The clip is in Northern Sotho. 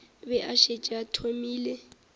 be a šetše a thomile